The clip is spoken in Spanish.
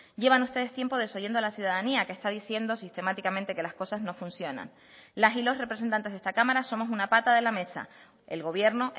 llevan ustedes tiempo desoyendo a la ciudadanía que está diciendo sistemáticamente que las cosas no funcionan las y los representantes de esta cámara somos una pata de la mesa el gobierno